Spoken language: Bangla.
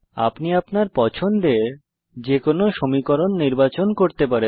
আপনি আপনার পছন্দের যে কোনো সমীকরণ নির্বাচন করতে পারেন